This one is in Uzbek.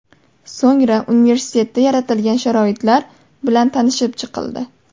So‘ngra universitetda yaratilgan sharoitlar bilan tanishib chiqildi.